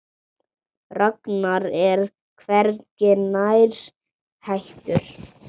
Ragnar er hvergi nærri hættur.